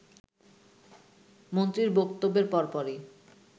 “ মন্ত্রীর বক্তব্যের পরপরই